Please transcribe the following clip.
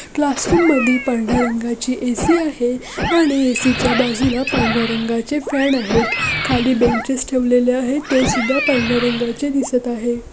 Classroom मध्ये पांढऱ्या रंगाची ए_सी आहे आणि ए_सी च्या बाजूला पांढऱ्या रंगाचे फॅन आहेत खाली बेंचेस ठेवलेले आहेत ते सुद्धा पांढऱ्या रंगाचे दिसत आहेत.